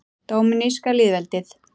Dóminíska lýðveldið